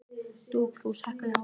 Dugfús, hækkaðu í hátalaranum.